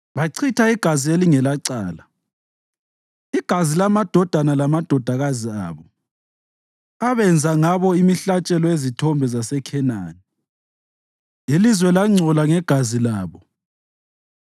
Bachitha igazi elalingelacala, igazi lamadodana lamadodakazi abo, abenza ngabo imihlatshelo yezithombe zaseKhenani, ilizwe langcola ngegazi labo.